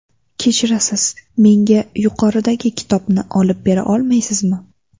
Kechirasiz, menga yuqoridagi kitobni olib bera olmaysizmi?